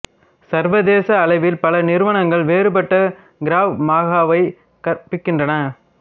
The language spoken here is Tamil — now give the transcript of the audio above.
சர்வதேச அளவில் பல நிறுவனங்கள் வேறுபட்ட கிராவ் மகாவை கற்பிக்கின்றன